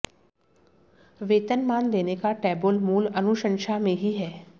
वेतनमान देने का टेबुल मूल अनुशंसा में ही है